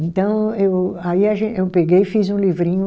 Então eu, aí a gen, eu peguei e fiz um livrinho.